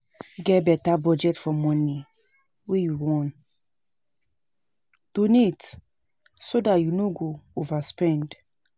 Get better budget for money wey you wan donate so dat you no go overspend